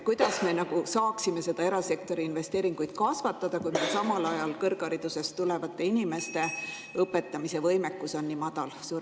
Kuidas me saaksime erasektori investeeringuid kasvatada, kui samal ajal inimeste õpetamise võimekus on nii madal?